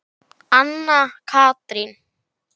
Anna Katrín.